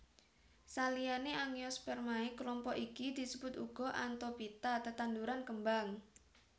Saliyané Angiospermae klompok iki disebut uga Anthophyta tetanduran kembang